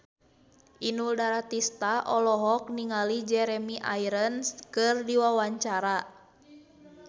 Inul Daratista olohok ningali Jeremy Irons keur diwawancara